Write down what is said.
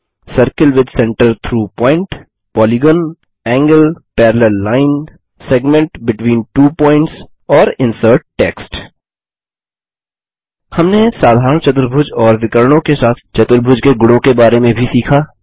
circle with centre through point polygon angle parallel line segment between two points और insert text हमने साधारण चतुर्भुज और विकर्णों के साथ चतुर्भुज के गुणों के बारे में भी सीखा